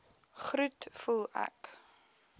groet voel ek